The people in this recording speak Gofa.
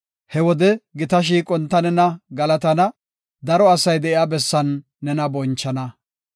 He wode gita shiiqon ta nena galatana; daro asay de7iya bessan nena bonchana.